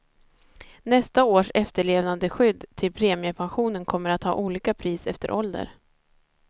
Nästa års efterlevandeskydd till premiepensionen kommer att ha olika pris efter ålder.